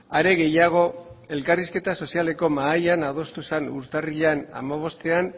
are gehiago elkarrizketa sozialeko mahaian adostu zen urtarrilean hamabostean